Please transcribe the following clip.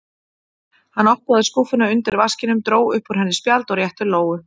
Hann opnaði skúffuna undir vaskinum, dró upp úr henni spjald og rétti Lóu.